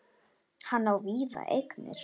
Hann á víða eignir.